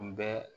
Kun bɛɛ